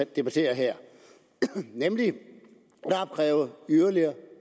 debatterer her nemlig at opkræve yderligere